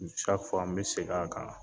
n bɛ segin a kan